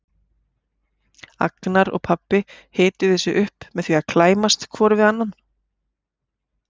Agnar og pabbi hituðu sig upp með því að klæmast hvor við annan.